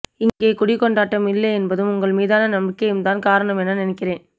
இங்கே குடிக்கொண்டாட்டம் இல்லை என்பதும் உங்கள் மீதான நம்பிக்கையும்தான் காரணம் என நினைக்கிறேன்